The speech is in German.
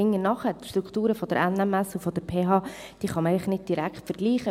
Die Strukturen der NMS und der PH kann man einfach nicht direkt vergleichen.